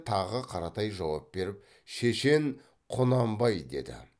тағы қаратай жауап беріп шешен құнанбай деді